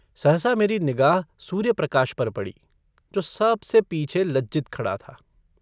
सहसा मेरी निगाह सूर्यप्रकाश पर पड़ी जो सबसे पीछे लज्जित खड़ा था।